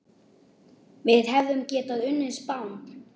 Við hefðum getað unnið Spán.